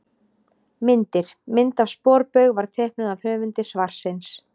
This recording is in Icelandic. Myndir: Mynd af sporbaug var teiknuð af höfundi svarsins.